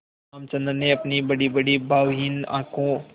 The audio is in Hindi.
रामचंद्र ने अपनी बड़ीबड़ी भावहीन आँखों